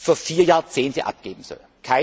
für vier Jahrzehnte abgeben soll.